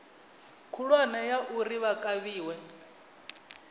khulwane ya uri vha kavhiwe